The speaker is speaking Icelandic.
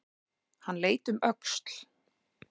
Hann leit um öxl.